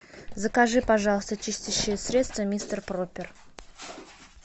закажи пожалуйста чистящее средство мистер пропер